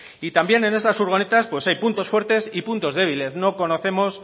y también en estas furgonetas hay puntos fuertes y puntos débiles no conocemos